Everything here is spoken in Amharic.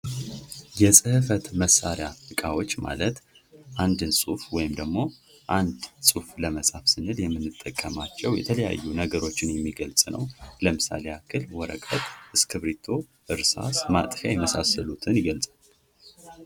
የህፈት መሳሪያ እቃዎች ማለት አንድን ጽሑፍ ወይም ደግሞ ጽሁፍ ለመጻፍ ስንል የምንጠቀምባቸው የተለያዩ ነገሮችን የሚገልጽ ነው ለምሳሌ ያክል ወረቀት እስክርቢቶ፥ ማጥፊያ የመሳሰሉትን ይገልፃል።